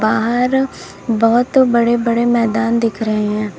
बाहर बहुत बड़े बड़े मैदान दिख रहे हैं।